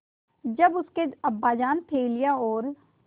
जब उसके अब्बाजान थैलियाँ और